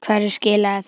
Hverju skilaði það?